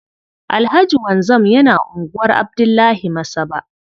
Alhaji Wanzam yana unguwar Abdullahi Masaba.